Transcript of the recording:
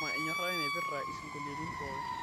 tushuma enyorata ai naipirta isingolioitin pooki